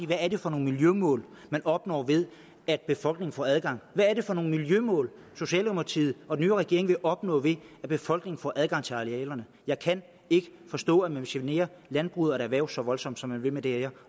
hvad er det for nogle miljømål man opnår ved at befolkningen får adgang hvad er det for nogle miljømål socialdemokratiet og den øvrige regering vil opnå ved at befolkningen får adgang til arealerne jeg kan ikke forstå at man vil genere landbruget og et erhverv så voldsomt som man vil med det her